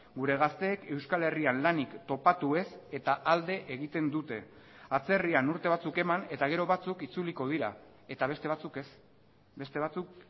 gure gazteek euskal herrian lanik topatu ez eta alde egiten dute atzerrian urte batzuk eman eta gero batzuk itzuliko dira eta beste batzuk ez beste batzuk